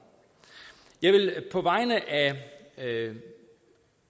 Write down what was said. jeg vil på vegne af